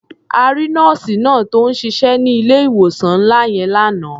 A rí nọ́ọ̀sì náà tó ń ṣiṣẹ́ ní ilé-ìwòsàn ńlá yẹn lánàá.